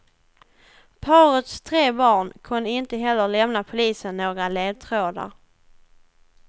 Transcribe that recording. Parets tre barn kunde inte heller lämna polisen några ledtrådar.